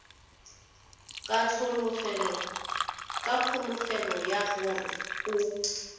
ka kholofelo ya gore o